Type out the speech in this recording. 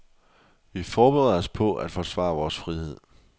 Vi forbereder os på at forsvare vores frihed.